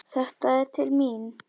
Þetta er til mín!